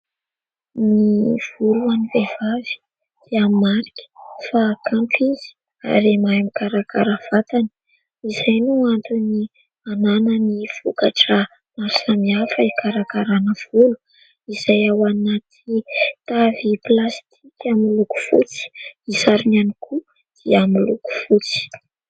Ny volo ho an'ny vehivavy dia marika fa kanto izy ary mahay mikarakara ny vatany; izay no antony hanany vokatra maro samihafa hikarakarana volo; izay ao anaty tavy plasitika miloko fotsy, ny sarony ihany koa dia miloko fotsy.